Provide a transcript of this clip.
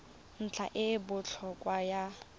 ntlha e e botlhokwa ya